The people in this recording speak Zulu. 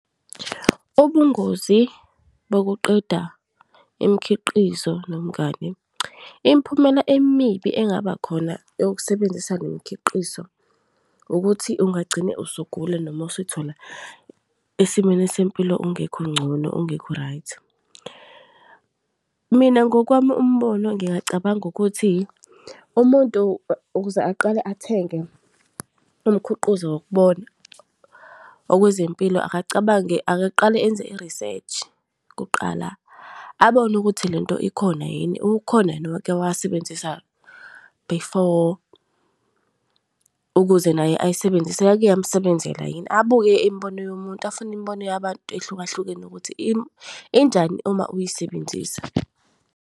Ubungozi bokuqeda imikhiqizo nomngani. Imiphumela emibi engabakhona eyokusebenzisa le mkhiqizo ukuthi ungagcine usugula noma usuy'thola esimweni sempilo ungekho ngcono, ungekho-right. Mina ngokwami umbono ngingacabanga ukuthi umuntu ukuze aqale athenge umkhiqizo wokubona okwezempilo akacabange, akaqale enze i-research kuqala abone ukuthi lento ikhona yini, ukhona yini owake wasebenzisa before ukuze naye ayisebenzise, yake yamsebenzela yini. Abuke imibono yomuntu afune imibono yabantu ehlukahlukene ukuthi injani uma uyisebenzisa.